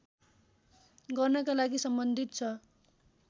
गर्नका लागि सम्बन्धित छ